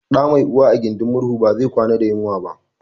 Ɗa mai uwa a gudin murhu ba zai kwana da yunwa ba